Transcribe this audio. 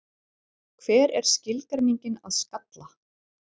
Hver er skilgreiningin að skalla?